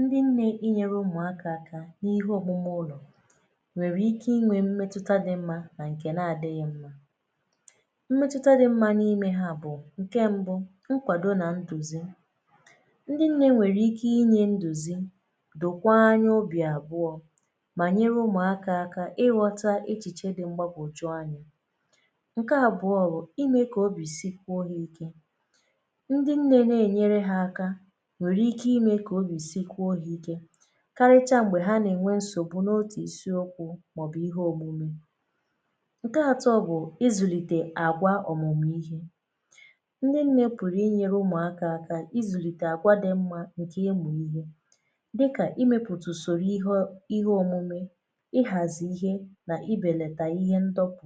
ndị nnē inyere umùakā n’ihe òmume ụlọ̀ nwère ike inwē mmetụta di mm anà ǹkè na-adịghị mma mmetụta dị mma n’ime ha bụ̀ ǹe mbu ngwàdo nà ndùzi ndị nne nwèrè ike inyē ndùzi dòkwa anya obì àbụọ mà nyere umùakā ighọta echìche di mgbagwòju anyā ǹke àbụọ wụ̀ imē kà obì si jwuo ha ike ndị nnē na-ènyere ha aka nwèrè ike imē kà obì sikwuo ha ike karịcha m̀gbè ha nà-ènwe nsògbu n’otù isiokwu màọbụ̀ ihe òmume ǹke àtọ bụ̀ ịzụ̀lìtè àgwa òmùmù ihe ndị nnē pụ̀rụ̀ inyēre umùakā aka ịzụ̀lìtè àgwa di mmā ǹkè ịmụ̀ ihe dịkà imēpụ̀tụ̀ ùsòrò ihe o ihe òmume ịghàzị ihe nà ibèlàtà ihe ndopu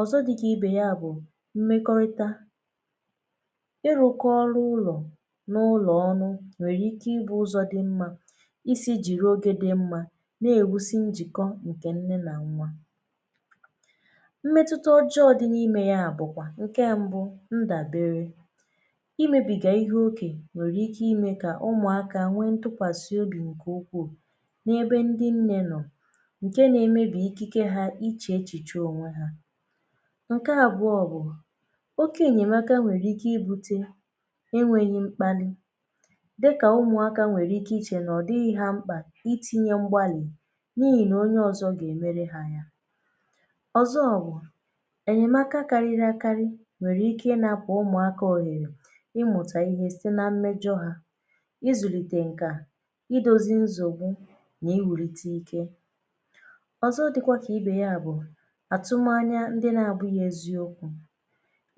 ọ̀zọ di kà ibe ya bụ̀ mmēkọrịta ịrụ̄kọ ọrụ ụlọ̀ n’ụlọ̀ ọnụ nwèrè ike ịbụ̄ ụzọ dị mmā isī jìri ogē di mmā na-èwusi njìkọ ǹkè nne nà nwa mmetuta ọjọọ di n’imē ya bụ̀kwà ǹke mbu ndàbere imēbìga ihe oke nwèrè ike ime kà umùakā nwee ntịkwàsị obì ǹkè ukwuu n'ebe ndị nnē nọ̀ ǹke na-emebi ikike ha iche echìche ónwe ha ǹke àbụọ bụ̀ oke ènyèmaka nwèrè ike ibute e nwèghi mkpalị dịkà umùaka nwèrè ike iche na ọ̀ dighị̄ ha mkpà itīnye mgbalị̀ na-èle onye ọ̀zọ gà-èmere ha ya ọ̀zọ bụ ènyemaka karịrị àkarị nwèrè ike ịnāpụ̀ umùakā ọ̀rịrà ịmụ̀tà ihe site na mmejọ hā ịzụ̀lìtè ǹkà idōzi nsọ̀gbụ nà ịwụ̀rite ike ọ̀zọ dịkwa kà ibe ya bụ̀ àtụmanya ndị na-abụ̄ghị eziokwū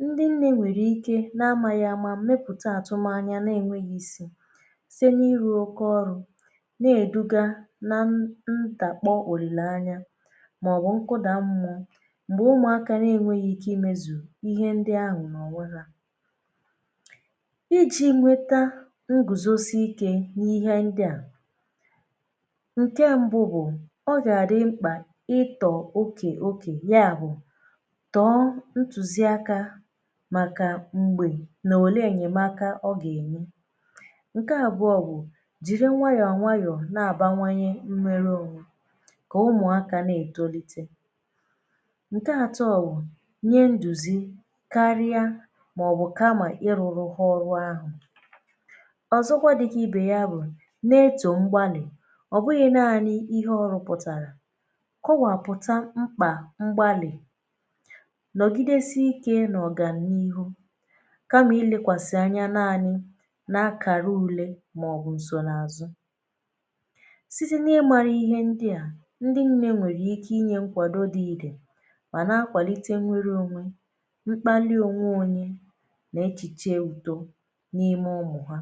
ndụ nnū nwèrè ike na-amāghị àma mepụ̀ta àtụmanya na-ènweghi isi site na-iru oke ọrụ na-èduga na ntàpọ òlìlèanya màọwụ nkụda mmụọ m̀gbè umùaka na-enwēghi ike imēzù ihe ndị ahụ̀ n’ònwe ha ijī nweta ngùzosi ike n’ihe ndịa ǹke mbu bụ̀ ọ gà-àdị mkpà ịtọ̀ okè okè ya bụ̀ tọọ ntụ̀zịakā màkà m̀gbè nà òle ènyèmaka ọ gà-ènye ǹke àbụọ bụ̀ jìri nwayọ nwayọ̀ na-àbawanye mwere ònwe kà umùakā na-ètolite ǹke nàtọ wụ̀ nye ndùzi karịa màọbụ kamà ị rụrụ ha ọrụ ahụ̀ ọ̀zọkwa dịkà ibe ya bụ̀ na-etò mgbalị̀ ọ̀ bụghị̄ nanị ihe ọ rụpụ̀tàrà kọwàpụtà mkpà mgbalị nọ̀gidesi ikē n’ọ̀gàniihu kamà ilēkwàsị̀ anya nanị̄ n’akàra ùle màọbụ̀ nsò n’àzụ site nà ịmāra ihe ndị a ndị nnē nwèrè ike inyē nkwàdo di ìdè mà na-akwàlite nwere ònwe mkpalị ònwe ònye nà echìche ùdo n’ime umù ha